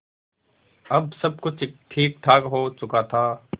अब सब कुछ ठीकठाक हो चुका था